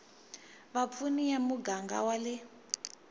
vapfuni ya muganga wa le